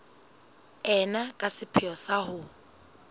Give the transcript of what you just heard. ena ka sepheo sa ho